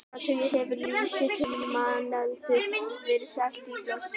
Í áratugi hefur lýsi til manneldis verið selt á flöskum.